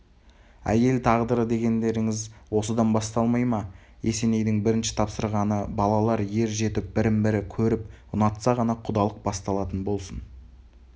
әйел тағдыры дегендеріңіз осыдан басталмай ма есенейдің бірінші тапсырғаны балалар ер жетіп бірін бірі көріп ұнатса ғана құдалық басталатын болсын